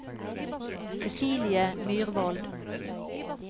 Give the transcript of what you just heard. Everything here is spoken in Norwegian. Cecilie Myrvold